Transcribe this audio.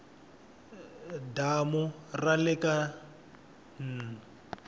damu ra le ka n